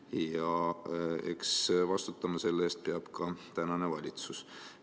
Ja eks vastutama selle eest peab ka praegune valitsus.